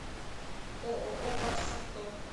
ооо барс авто